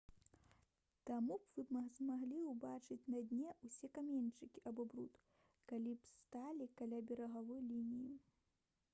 таму вы б змаглі ўбачыць на дне ўсе каменьчыкі або бруд калі б сталі каля берагавой лініі